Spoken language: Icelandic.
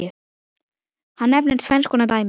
Hann nefnir tvenns konar dæmi